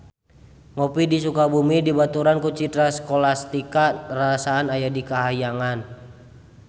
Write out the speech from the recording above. Ngopi di Sukabumi dibaturan ku Citra Scholastika rarasaan aya di kahyangan